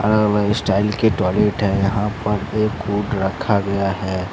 अलग-अलग स्टाइल के टॉयलेट है। यहां पर एक कूट रखा गया है।